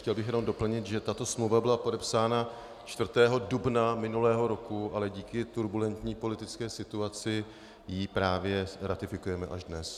Chtěl bych jenom doplnit, že tato smlouva byla podepsána 4. dubna minulého roku, ale kvůli turbulentní politické situaci ji právě ratifikujeme až dnes.